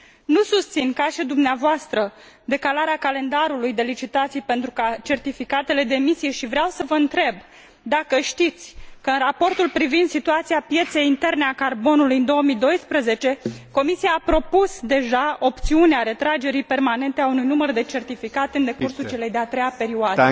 Nu susțin, ca și dumneavoastră, decalarea calendarului de licitații pentru certificatele de emisie și vreau să vă întreb dacă știți că, în raportul privind situația pieței interne a carbonului în 2012, Comisia a propus deja opțiunea retragerii permanente a unui număr de certificate în decursul celei de a treia perioade?